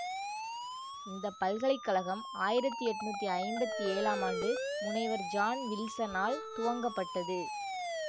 இந்த பல்கலை கழகம் ஆயிரத்தி எண்ணூற்றி ஐம்பத்தி ஏழாம் ஆண்டு முனைவர் ஜான் வில்சனால் துவங்கப்பட்டது